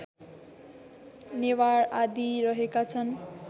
नेवार आदि रहेका छन्